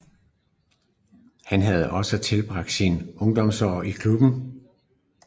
Han havde også tilbragt sine ungdomsår i klubben